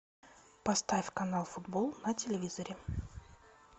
поставь канал футбол на телевизоре